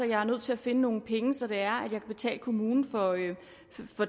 jeg er nødt til at finde nogle penge så det er at jeg kan betale kommunen for